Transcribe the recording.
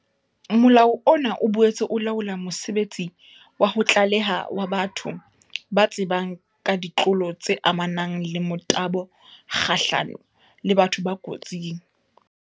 Molao ona o boetse o laola mosebetsi wa ho tlaleha wa batho ba tsebang ka ditlolo tse amanang le motabo kgahlano le batho ba kotsing.